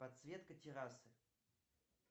подсветка террасы